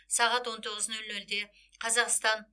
сағат он тоғыз нөл нөлде қазақстан